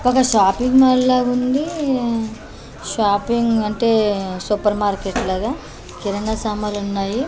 ఒక shopping mall లాగుంది shopping అంటే సూపర్ మార్కెట్ లాగా కిరాణా సామాన్లున్నాయి.